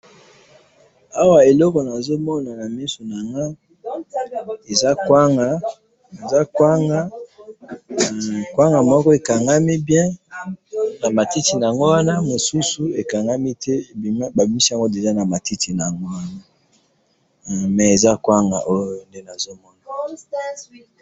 Awa eloko nazomona na miso na nga eza kwanga, kwanga moko ekangami bien na matiti na yango wana, mosusu ekangami bien te babimisi yango na matiti na yango mais eza kwanga